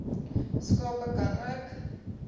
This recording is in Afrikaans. skape ka nook